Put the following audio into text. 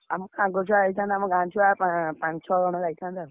ଆମ ସାଙ୍ଗ ଛୁଆ ଯାଇଥାନ୍ତେ ଗାଁ ଛୁଆ ~ପା ପାଞ୍ଚ ଛ ଜଣ ଯାଇଥାନ୍ତେ ଆଉ।